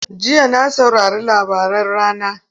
Jiya na saurari labaran rana.